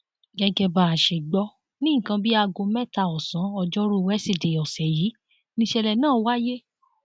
gẹgẹ bá a ṣe gbọ ní nǹkan bíi aago mẹta ọsán ọjọrùú weṣidẹẹ ọsẹ yìí nìṣẹlẹ náà wáyé